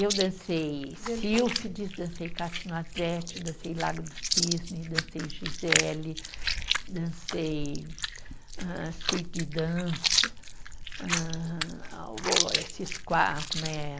Eu dancei Sílfides, dancei, dancei Lago do Cisne, dancei Gisele, dancei hã, Suíte de Dança, hã a o, esses qua, como é